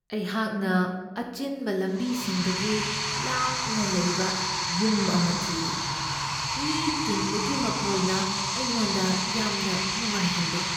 ꯑꯩꯍꯥꯛꯅ ꯑꯆꯤꯟꯕ ꯂꯝꯕꯤꯁꯤꯡꯗꯒꯤ ꯂꯥꯞꯅ ꯂꯩꯕ ꯌꯨꯝ ꯑꯃ ꯊꯤꯔꯤ, ꯃꯤ ꯇꯤꯟꯕꯒꯤ ꯃꯈꯣꯜꯅ ꯑꯩꯉꯣꯟꯗ ꯌꯥꯝꯅ ꯅꯨꯡꯉꯥꯏꯍꯟꯗꯦ ꯫